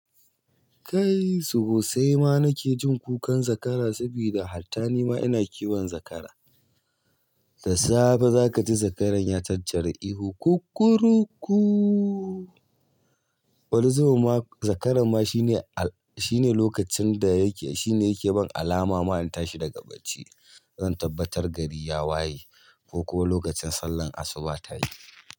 Kai sosaima nake jin kukan zakara saboda hatta nima ina kiwon zakara. Da safe zaka ji zakaran ya tattara ihu kukuruku. Wani zubinma zakara ma shine, shine lokacin da yake, shine yake bani alama ma in tashi daga bacci. Zan tabbatar gari ya waye, kokuma lokacin sallar asuba tayi.